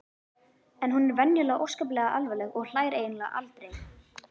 En hún er venjulega óskaplega alvarleg og hlær eiginlega aldrei.